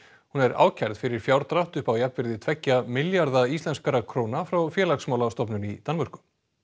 hún er ákærð fyrir fjárdrátt upp á jafnvirði tveggja milljarða íslenskra króna frá félagsmálastofnun í Danmörku